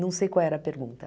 Não sei qual era a pergunta.